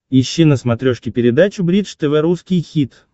ищи на смотрешке передачу бридж тв русский хит